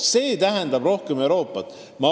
See tähendab rohkem Euroopat.